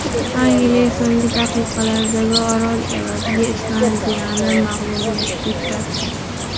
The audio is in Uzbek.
Angliya so‘nggi daqiqalardagi gol evaziga Islandiyani mag‘lubiyatga uchratdi.